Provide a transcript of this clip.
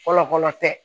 Fɔlɔ fɔlɔ tɛ